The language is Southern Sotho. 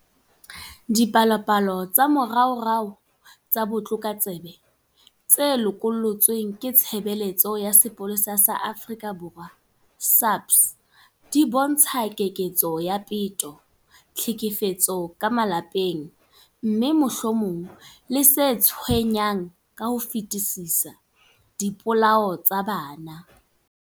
Dipalopalo tsa moraorao tsa botlokotsebe tse lokollotsweng ke Tshebeletso ya Sepolesa sa Afrika Borwa, SAPS, di bontsha keketseho ya peto, tlhekefetso ya ka malapeng, mme, mohlomong le se tshwenyang ka ho fetisisa, dipolao tsa bana.